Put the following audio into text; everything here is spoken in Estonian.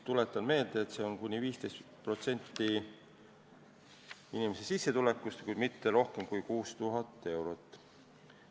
Tuletan meelde, et see on kuni 15% inimese sissetulekust, kuid mitte rohkem kui 6000 eurot.